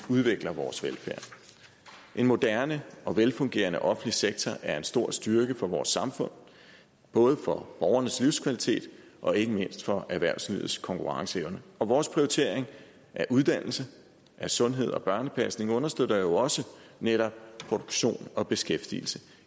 udvikle vores velfærd en moderne og velfungerende offentlig sektor er en stor styrke for vores samfund både for borgernes livskvalitet og ikke mindst for erhvervslivets konkurrenceevne vores prioritering af uddannelse sundhed og børnepasning understøtter jo også netop produktion og beskæftigelse